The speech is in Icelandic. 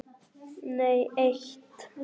Nei eitt.